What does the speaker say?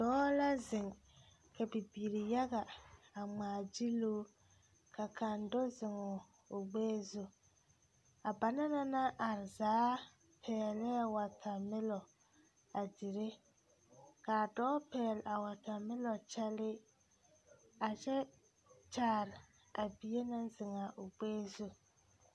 Dɔɔ la zeŋ ka bibiiri yaga a ŋmaagyili o ka kaŋ do zeŋ o gbɛɛ zu a ba na naŋ are zaa pɛglɛɛ wɔtamelɔ a dire k,a dɔɔ pɛgle a wɔtamelɔ kyɛlee a kyɛ kyaare a bie naŋ zeŋ a o gbɛɛ zu.